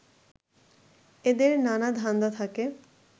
এদের নানা ধান্দা থাকে